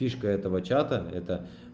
фишка этого чата это